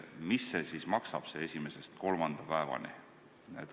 Mis see siis maksab, see esimesest kuni kolmanda päevani hüvitamine?